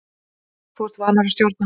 Þú ert vanur að stjórna.